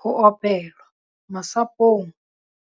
Ho opelwa- Masapong,